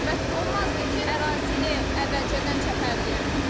Bəs olmazdı ki, ərazini əvvəlcədən çəpərləyərdiniz?